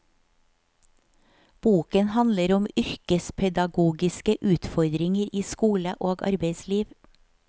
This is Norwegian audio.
Boken handler om yrkespedagogiske utfordringer i skole og arbeidsliv.